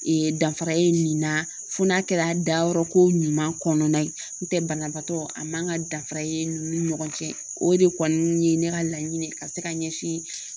danfara ye nin na fo n'a kɛra dayɔrɔ ko ɲuman kɔnɔna ye, n'o tɛ banabaatɔ a man ka danfara ye ninnu ni ɲɔgɔn cɛ o de kɔni ye ne ka laɲini ye ka se ka ɲɛsin